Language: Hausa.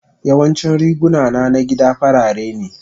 Yawancin riguna na gida farare ne.